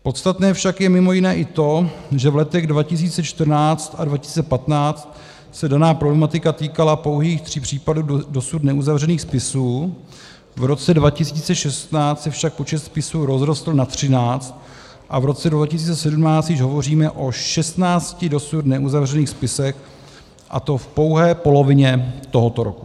Podstatné však je mimo jiné i to, že v letech 2014 a 2015 se daná problematika týkala pouhých 3 případů dosud neuzavřených spisů, v roce 2016 se však počet spisů rozrostl na 13 a v roce 2017 již hovoříme o 16 dosud neuzavřených spisech, a to v pouhé polovině tohoto roku.